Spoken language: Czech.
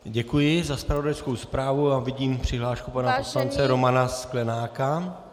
Děkuji za zpravodajskou zprávu a vidím přihlášku pana poslance Romana Sklenáka.